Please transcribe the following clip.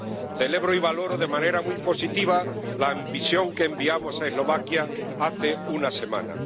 Celebro y valoro de manera muy positiva la misión que enviamos a Eslovaquia hace una semana.